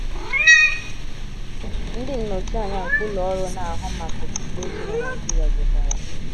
Ndị nnọchianya nke Ụlọ Ọrụ Na - ahụ Maka Okpukpe Chi na Naijiria jekwara.